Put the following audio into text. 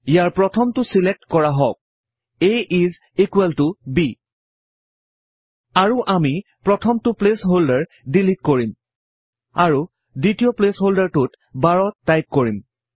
ইয়াৰ প্ৰথমটো ছিলেক্ট কৰা হওঁক a ইচ ইকোৱেল ত b আৰু আমি প্ৰথমটো প্লেচ হল্ডাৰ ডিলিট কৰিম আৰু দ্বিতীয় প্লেচ হল্ডাৰটোত 12 টাইপ কৰিম